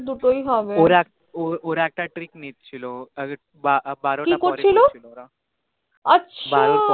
দুটোই হবে ওরা ওরাএকটা trick নিছিল বারোটা করছিল কি করছিল আছা